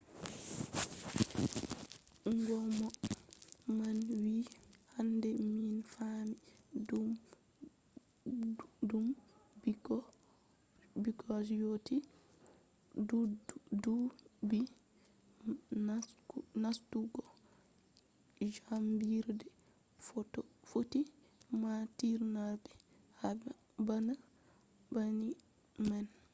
ngomna man wi'i hande min faami dow ɓikkon je yotti ɗuɓɓi nastugo jaangirde footi matinama bana nangi nyau man.